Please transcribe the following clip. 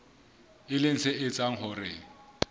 e leng se etsang hore